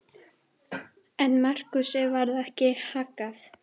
En Markúsi varð ekki haggað.